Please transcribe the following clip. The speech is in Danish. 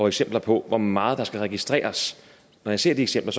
eksempler på hvor meget der skal registreres når jeg ser de eksempler